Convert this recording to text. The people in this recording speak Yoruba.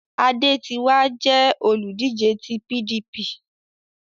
Adé ti wá jẹ́ olùdíje ti PDP